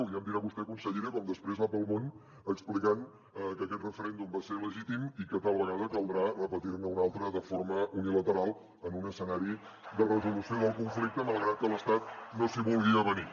ja em dirà vostè consellera com després va pel món explicant que aquest referèndum va ser legítim i que tal vegada caldrà repetir ne un altre de forma unilateral en un escenari de resolució del conflicte malgrat que l’estat no s’hi vulgui avenir